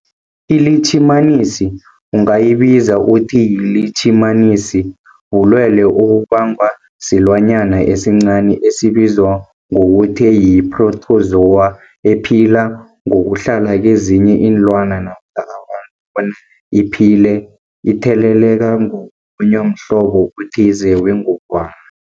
iLitjhimanisi ungayibiza uthiyilitjhimanisi, bulwelwe obubangwa silwanyana esincani esibizwa ngokuthiyi-phrotozowa ephila ngokuhlala kezinye iinlwana, abantu bona iphile itheleleka ngokulunywa mhlobo othize wengogwana.